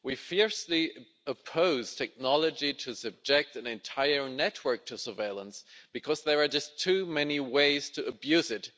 We fiercely oppose technology to subject an entire network to surveillance, because there are just too many ways to abuse it.